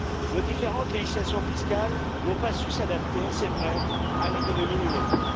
Nos différentes législations fiscales n'ont pas su s'adapter, c'est vrai, à l'économie numérique.